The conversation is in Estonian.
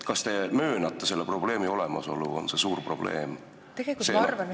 Kas te möönate seda ja kas see on suur probleem?